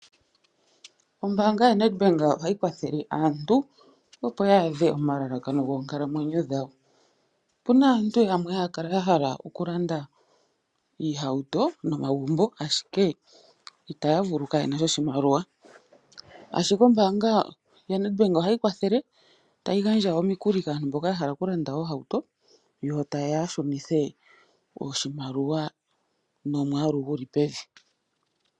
Ombaanga yaNedbank ohayi kwathele aantu opo ya adhe omalalakano goonkalamwenyo dhawo. Opuna aantu yamwe haya kala ya hala okulanda iihauto nomagumbo ndele itaya vulu molwaasho kaye na sha oshimaliwa. Ombaanga yaNedbank ohayi kwathele okugandja omikuli kaantu mboka ya hala oku landa iihauto yo taye ya ya shunithe oshimaliwa nomwaalu gu li pevi.